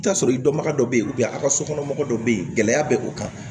I bi t'a sɔrɔ i dɔnbaga dɔ be yen a ka sokɔnɔmɔgɔ dɔ be yen gɛlɛya be o kan